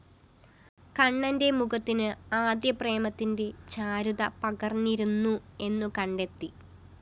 കണ്ണന്റെ മുഖത്തിന് അത ്‌പ്രേമത്തിന്റെ ചാരുത പകര്‍ന്നിരുന്നു എന്നുകണ്ടത്തി